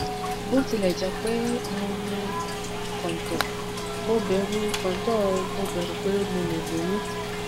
bó tilẹ jẹ pé mo lo kóntóò mo bẹrù kóntóò mo bẹrù pé mo lè lóyún